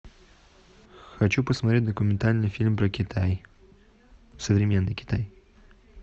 хочу посмотреть документальный фильм про китай современный китай